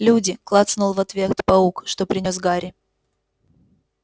люди клацнул в ответ паук что принёс гарри